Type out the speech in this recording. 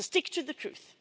So stick to the truth.